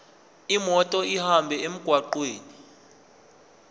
imoto ihambe emgwaqweni